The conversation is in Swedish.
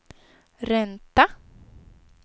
ränta